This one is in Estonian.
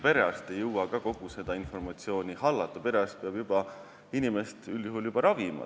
Perearst ei jõua paraku kogu informatsiooni hallata, tema peab üldjuhul inimest ravima.